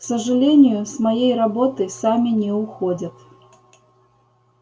к сожалению с моей работы сами не уходят